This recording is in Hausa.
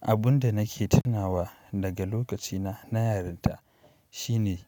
Abun da nake tunawa daga lokacina na yarinta shine